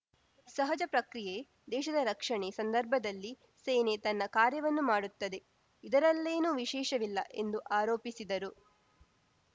ಸಹಜ ಪ್ರಕ್ರಿಯೆ ದೇಶದ ರಕ್ಷಣೆ ಸಂದರ್ಭದಲ್ಲಿ ಸೇನೆ ತನ್ನ ಕಾರ್ಯವನ್ನು ಮಾಡುತ್ತದೆ ಇದರಲ್ಲೇನೂ ವಿಶೇಷವಿಲ್ಲ ಎಂದು ಆರೋಪಿಸಿದರು